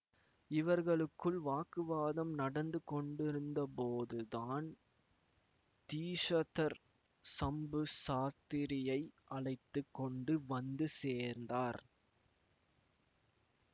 இவர்களுக்குள் வாக்குவாதம் நடந்து கொண்டிருந்தபோதுதான் தீஷதர் சம்பு சாஸ்திரியை அழைத்து கொண்டு வந்து சேர்ந்தார்